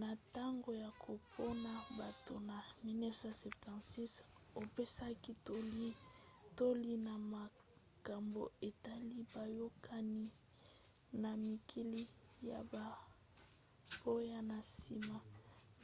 na ntango ya kopona bato na 1976 apesaki toli na makambo etali boyokani na mikili ya bapaya na nsima